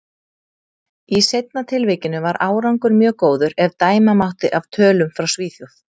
Í seinna tilvikinu var árangur mjög góður, ef dæma mátti af tölum frá Svíþjóð.